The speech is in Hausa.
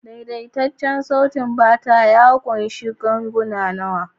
Daidaitaccen saitin bata ya ƙunshi ganguna nawa?